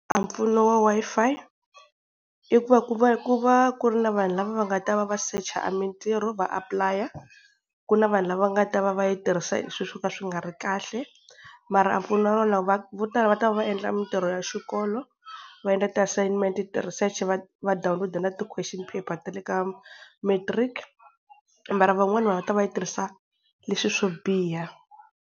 A mpfuno wa Wi-Fi, i ku va ku va ku va ku ri na vanhu lava va nga ta va va secha a mintirho va apply. Ku na vanhu lava va nga ta va va yi tirhisa swilo swo ka swi nga ri kahle, mara a vo tala va ta va endla mintirho ya xikolo va endla ti-assignment, ti-research va va download na ti-question paper ta le ka matric, mara van'wani va ta va, va yi tirhisa leswi swo biha.